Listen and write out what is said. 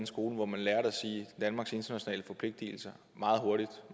skole hvor man lærte at sige danmarks internationale forpligtelser meget hurtigt